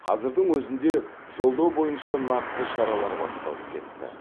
қазірдің өзінде жолдау бойынша нақты шаралар басталып кетті